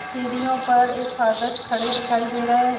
सीढ़ियों पर एक फादर्स खड़े दिखाई दे रहे है।